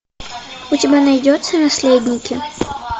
у тебя найдется наследники